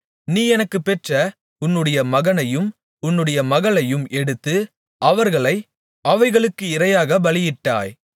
நீ எனக்குப் பெற்ற உன்னுடைய மகனையும் உன்னுடைய மகள்களையும் எடுத்து அவர்களை அவைகளுக்கு இரையாகப் பலியிட்டாய்